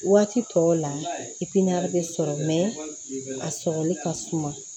Waati tɔw la bɛ sɔrɔ a sɔrɔli ka suma